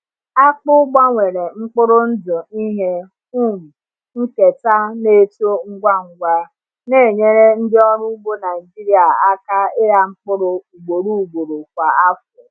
Akpụ gbanwere mkpụrụ ndụ ihe um nketa na-eto ngwa ngwa, na-enyere ndị ọrụ ugbo Naijiria aka ịgha mkpụrụ ugboro ugboro kwa afọ.